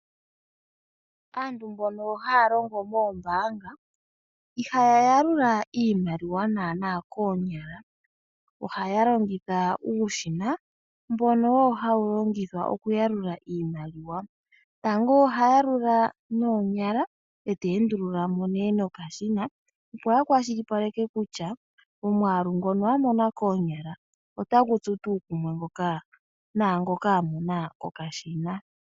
Aantu mbono haya longo moombaanga, ihaya yalula iimaliwa naana koonyala, ohaya longitha uushina mbono wo wuli hawu longithwa oku yalula iimaliwa. Tango ohaya yalula noonyala, eta yalula nee nokashima opo a kwashilipaleke kutya omwaalu ngono a mona koonyala otagu tsu tuu kumwe naangoka a mona kokashina.